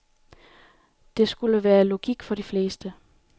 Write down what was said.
Det skulle være logik for de fleste.